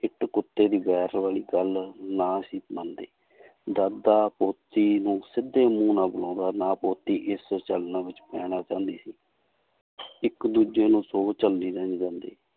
ਇੱਟ ਕੁੱਤੇ ਦੀ ਵੈਰ ਵਾਲੀ ਗੱਲ ਨਾ ਸੀ ਮੰਨਦੇ ਦਾਦਾ ਪੋਤੀ ਨੂੰ ਸਿੱਧੇ ਮੂੰਹ ਨਾਲ ਬੁਲਾਉਂਦਾ, ਨਾ ਪੋਤੀ ਇਸ ਪੈਣਾ ਚਾਹੁੰਦੀ ਸੀ ਇੱਕ ਦੂਜੇ ਨੂੰ